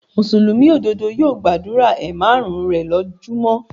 Mùsùlùmí òdodo yóò gbàdúrà ẹ márùn-ún rè lójú mọ́.